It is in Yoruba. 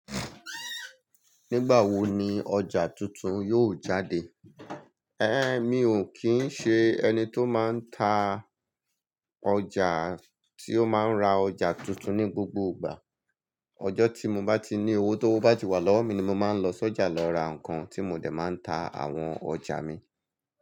Nígbà wo ni ọjà tuntun yóò jáde? Mi ò kín ń ṣe ẹni tó máa ń ta ọjà, tí ó máa ń ra ọjà tuntun ní gbogbo ìgbà. Ọjọ́ tí mo báti ní owó tówo bá tìwà lọ́wọ́ mi ni mo máa ń lọ sọ́jà lọ rà ǹkan tí mo dẹ̀ máa ń ta àwọn ọjà mi.